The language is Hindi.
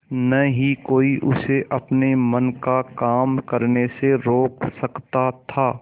न ही कोई उसे अपने मन का काम करने से रोक सकता था